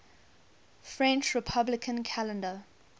french republican calendar